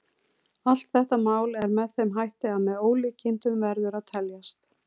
Allt þetta mál er með þeim hætti að með ólíkindum verður að teljast.